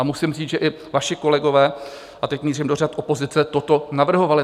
A musím říct, že i vaši kolegové, a teď mířím do řad opozice, toto navrhovali.